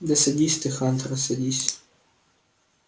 да садись ты хантер садись